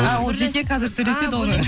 а ол жеке қазір сөйлеседі оны